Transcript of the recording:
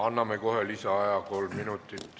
Anname kohe lisaaja kolm minutit.